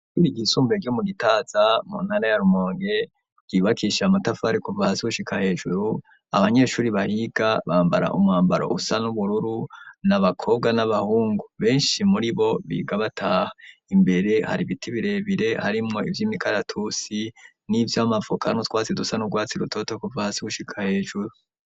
Ishure ryisumbuye ryo mu Gitaza muntara ya Rumonge, ryubakishije amatafari kuva hasi gushika hejuru, abanyeshuri bariga bambara umwambaro usa n'ubururu, n'abakobwa n'abahungu, benshi muri bo, biga bataha. Imbere hari ibiti birebire, harimwo ivy'imikaratusi, n'ivy'amavoka, n'utwasi dusa n'urwatsi rutoto kuva hasi gushika hejuru.